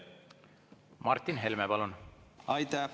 Martin Helme, palun!